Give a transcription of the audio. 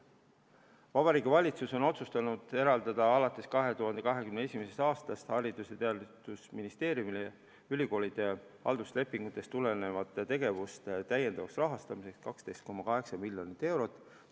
Vabariigi Valitsus on otsustanud eraldada alates 2021. aastast Haridus- ja Teadusministeeriumile ülikoolide halduslepingutest tulenevate tegevuste täiendavaks rahastamiseks 12,8 miljonit eurot.